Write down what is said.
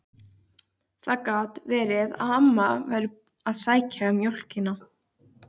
Það gat verið að amma væri að sækja mjólkina.